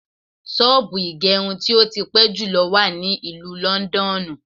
Ṣọ́ọ̀bù ìgẹrub tí ó ti pẹ́ jùlọ wà ní ìlú Lọ́ńdọ́ọ̀nù.